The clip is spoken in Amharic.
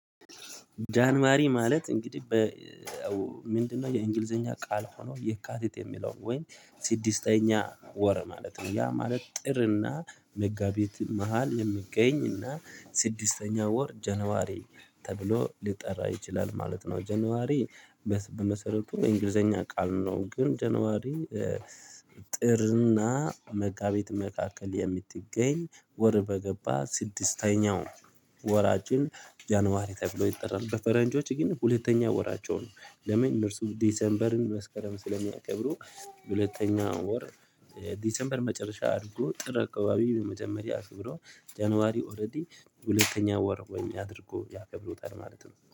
ጃንዋሪ ማለት እንግዲህ ምንድነው? የእንግሊዝኛ ቃል ሆኖ፣ የካቲት የሚለው ወይ ስድስተኛ ወር ማለት ነው። ያ ማለት ጥርና መጋቢት መሃል የምገኝና ስድስተኛ ወር ጃንዋሪ ተብሎ ሊጠራ ይችላል ማለት ነው። ጀነዋሪ መስ በመሰረቱ የእንግሊዝኛ ቃል ነው፣ ግን ጃንዋሪ ኤ ጥርና መጋቢት መካከል የምትገኝ ወር፣ በእኛ ስድስተኛው ወራችን፣ ጃንዋሪ ተብሎ ይጠራል። በፈረንጆች ግን ሁለተኛ ወራቸው ነው። ለምን? እነርሱ ዲሴምበርን መስከረም ስለሚያከብሩ፣ ሁለተኛ ወር ኤ ዲሴምበርን መጨረሻ አድርገው፣ ጥር አካባቢ መጀመሪያ አድርገው፣ ጃንዋሪን ደግሞ ሁለተኛ ወር አድርገው ያከብሩታል ማለት ነው።